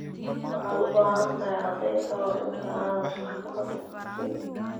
Waxaad u baahan tahay caddayn ka hor inta aanad maxkamad u gudbin.